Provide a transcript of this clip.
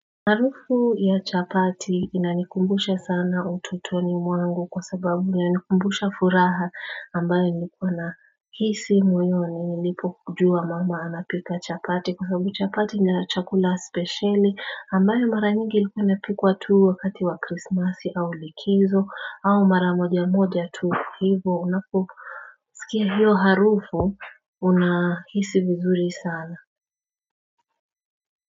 Harufu ya chapati inanikumbusha sana ututoni mwangu kwa sababu na inikumbusha furaha ambayo nlikuwa na hisi moyoni nilipo kujua mama anapika chapati kwa sababu chapati nja chakula speciali ambayo mara nyingi ilikuwa napikwa tuu wakati wa krismasi au likizo au mara moja moja tuu hivo unako sikia hiyo harufu unahisi vizuri sana.